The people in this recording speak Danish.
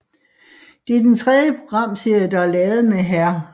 Det er den tredje programserie der er lavet med Hr